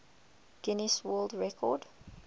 guinness world record